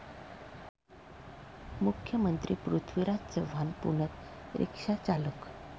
मुख्यमंत्री पृथ्वीराज चव्हाण पुण्यात रिक्षाचालक!